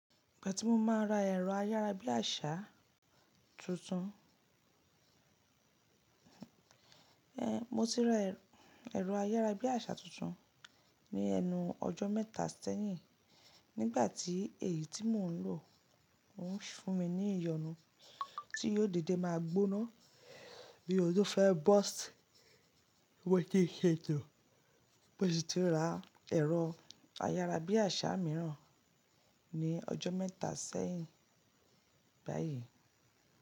Ìgbà tí mo máa ra ẹ̀rọ ayára bí àṣá tuntun. Eh, mo ti ra ẹ̀rọ ayára bí àṣá tuntun ní ẹnu ọjọ́ mẹ́ta sẹ́yìn nígbà tí èyí tí mò ń lò ń fún mi ní ìyọnu tí yóò dédé máa gbóná bí òun tó fẹ́ burst, mo tètè ṣètò. Mo sì ti ra ẹ̀rọ ayára bí àṣá míràn ní ọjọ́ mẹ́ta sẹ́yìn báyìí.